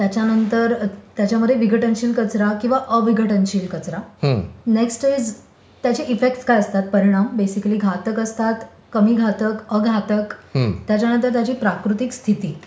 त्याच्यानंतर त्याच्यामध्ये विघटनशील कचरा किंवा अविघटनशील कचरा. नेक्स्ट इज त्याचे इफेक्टस काय असतात? परिणाम. बेसिकली घातक असतात, कमी घातक, आघातक. त्याच्यानंतर त्याची प्राकृतिक स्थिती